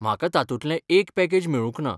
म्हाका तातूंतले एक पॅकेज मेळूंक ना.